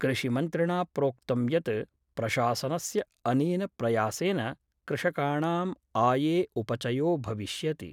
कृषि मन्त्रिणा प्रोक्तं यत् प्रशासनस्य अनेन प्रयासेन कृषकाणां आये उपचयो भविष्यति।